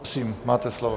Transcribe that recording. Prosím, máte slovo.